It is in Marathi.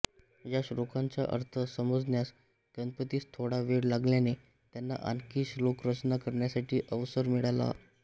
या श्लोकांचा अर्थ समजण्यास गणपतीस थोडा वेळ लागल्याने त्यांना आणखी श्लोकरचना करण्यासाठी अवसर मिळाला